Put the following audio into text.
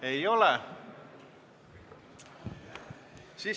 Ei ole.